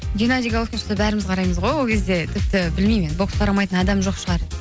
геннади головкин шықса бәріміз қараймыз ғой ол кезде тіпті білмеймін енді бокс қарамайтын адам жоқ шығар